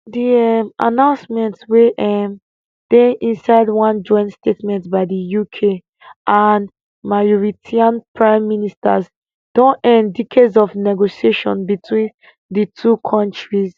di um announcement wey um dey inside one joint statement by di uk and mauritian prime ministers don end decades of negotiations between di two kontris